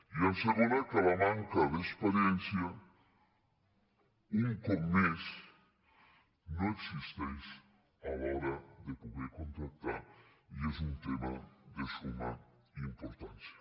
i segon que la manca d’experiència un cop més no existeix a l’hora de poder contractar i és un tema de summa importància